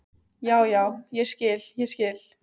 Já, já, ég skil, ég skil.